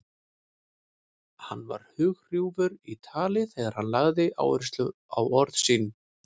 Hann var hrjúfur í tali þegar hann lagði áherslu á orð sín.